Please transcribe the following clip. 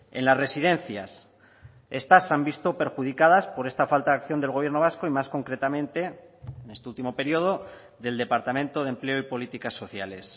en las residencias estas se han visto perjudicadas por esta falta de acción del gobierno vasco y más concretamente en este último periodo del departamento de empleo y políticas sociales